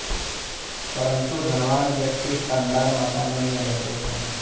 परन्तु धनवान व्यक्ति शानदार मकानों में रहते थे